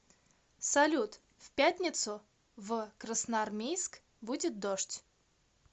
салют в пятницу в красноармейск будет дождь